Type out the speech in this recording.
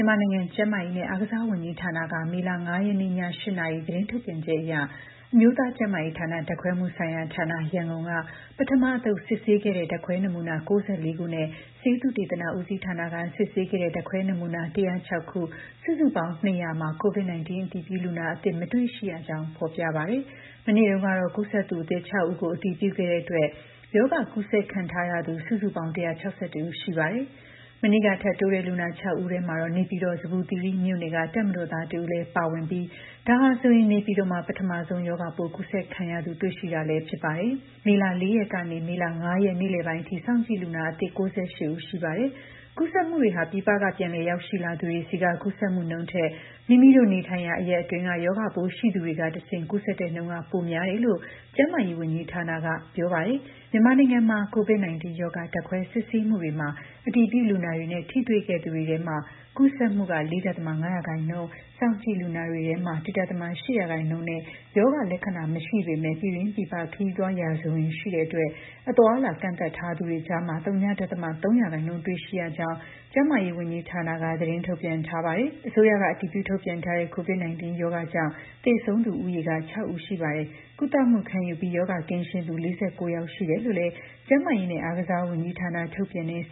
မာနိုင်ငံ ကျန်းမာရေးနဲ့အားကစားဝန်ကြီးဌာနက မေလ ၅ ရက်နေ့ ည ၈ နာရီသတင်းထုတ်ပြန်ချက်အရ အမျိုးသားကျန်းမာရေးဌာန၊ ဓါတ်ခွဲမှုဆိုင်ရာဌာန ရန်ကုန်က ပထမအသုတ် စစ်ဆေးခဲ့တဲ့ ဓါတ်ခွဲနမူနာ ၉၄ ခုနဲ့ ဆေးသုတေသန ဦးစီးဌာနက စစ်ဆေးခဲ့တဲ့ ဓါတ်ခွဲနမူနာ ၁၀၆ ခု၊ စုစုပေါင်း ၂၀၀ မှာ COVID-19 အတည်ပြုလူနာအသစ် မတွေ့ရှိရကြောင်း ဖော်ပြပါတယ်။ မနေ့တုန်းကတော့ ကူးစက်သူအသစ် ၆ ဦးကို အတည်ပြုခဲ့တဲ့အတွက် ရောဂါ ကူးစက်ခံထားရသူ စုစုပေါင်း ၁၆၁ ဦး ရှိနေပါတယ်။ မနေ့က ထပ်တိုးတဲ့ လူနာ ၆ ဦးထဲမှာတော့ နေပြည်တော် ဇမ္မူသီရိမြို့နယ်က တပ်မတော်သား ၁ ဦးလည်း ပါဝင်ခဲ့ပြီး ဒါဟာဆိုရင် နေပြည်တော်မှာ ပထမဆုံး ရောဂါပိုး ကူးစက်ခံရသူ တွေ့ရှိတာလည်း ဖြစ်ပါတယ်။ မေလ ၄ ရက်ကနေ မေလ ၅ရက် နေ့လယ်ပိုင်းအထိ စောင့်ကြည့်လူနာသစ် ၉၈ ဦး ရှိပါတယ်။ ကူးစက်မှုတွေဟာ ပြည်ပက ပြန်လည်ရောက်ရှိလာသူတွေဆီက ကူးစက်မှုနှုန်းထက် မိမိတို့နေထိုင်ရာ အရပ်အတွင်းက ရောဂါပိုး ရှိသူတွေဆီကတဆင့် ကူးစက်တဲ့နှုန်းက ပိုများတယ်လို့လည်း ကျန်းမာရေးဝန်ကြီးဌာနက ပြောပါတယ်။ မြန်မာနိုင်ငံမှာ COVID-19 ရောဂါဓာတ်ခွဲစစ်ဆေးမှုတွေမှာ အတည်ပြုလူနာတွေနဲ့ ထိတွေ့သူတွေထဲမှာ ကူးစက်မှု ၄.၅ ရာခိုင်နှုန်း၊ စောင့်ကြည့်လူနာတွေထဲမှာ ၁.၈ ရာခိုင်နှုန်းနဲ့ ရောဂါလက္ခဏာ မရှိပေမဲ့ ပြည်တွင်း၊ ပြည်ပခရီးသွားရာဇဝင်ရှိတဲ့အတွက် အသွားအလာ ကန့်သတ်ထားသူတွေကြားမှာ ဝ.၃ ရာခိုင်နှုန်းတွေ့ရှိရကြောင်းလည်း ကျန်းမာရေးဝန်ကြီးဌာနက သတင်းထုတ်ပြန်ထားပါတယ်။ အစိုးရက အတည်ပြု ထုတ်ပြန်ထားတဲ့ COVID 19 ရောဂါကြောင့် သေဆုံးသူဦးရေက ၆ ဦး ရှိပါတယ်။ ကုသမှုခံယူပြီး ရောဂါကင်းရှင်းသူ ၄၉ ယောက်ရှိတယ်လို့လည်း ကျန်းမာရေးနဲ့အားကစားဝန်ကြီးဌာန ထုတ်ပြန်တဲ့ စ